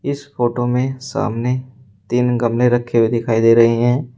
इस फोटो में सामने तीन गमले रखे हुए दिखाई दे रहे हैं।